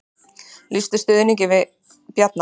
Lýsa stuðningi við Bjarna